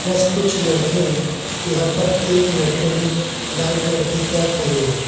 Plus कुछ लड़के हैं यहां पर एक लड़के ने लाल कलर की कैप पहनी है।